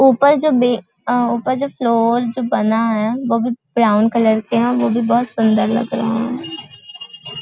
ऊपर जो बे अ ऊपर जो फ्लोर बना है वो भी ब्राउन कलर के है वो भी बहुत सुंदर लग रहे हैं।